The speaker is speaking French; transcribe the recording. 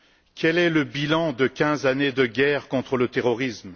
Quel est le bilan de quinze années de guerre contre le terrorisme?